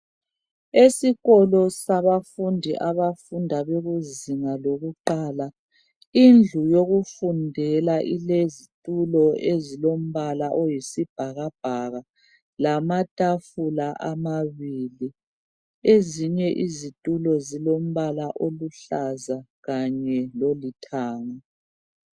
Esikolo sabafundi abafunda kuzinga lokuqala indlu yokufundela ilezitulo ezilombala oyisibhakabhaka lamatafula amabili ezinye izitulo zilombala oluhlaza kanye lolithanga.